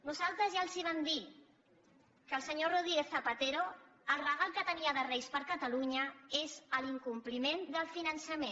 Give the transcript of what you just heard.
nosaltres ja els vam dir que el senyor rodríguez zapatero el regal que tenia de reis per a catalunya és l’incompliment del finançament